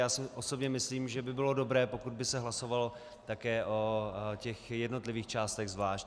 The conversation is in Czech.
Já si osobně myslím, že by bylo dobré, pokud by se hlasovalo také o těch jednotlivých částech zvlášť.